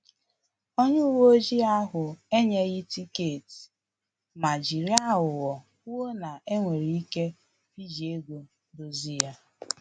Onye uwe ojii ahụ enyeghi tiketi ma jiri aghụghọ kwuo na enwere ike iji ego dozie ya